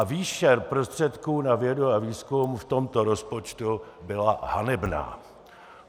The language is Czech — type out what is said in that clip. A výše prostředků na vědu a výzkum v tomto rozpočtu byla hanebná!